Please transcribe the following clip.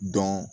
Dɔn